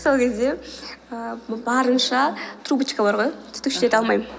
сол кезде ііі барынша трубочка бар ғой түтікшелерді алмаймын